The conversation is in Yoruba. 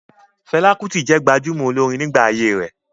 Fẹlá Kútì jẹ́ gbajúmọ̀ olórin nígbà ayé rẹ̀.